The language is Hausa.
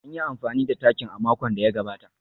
An yi amfani da takin a makon da ya gabata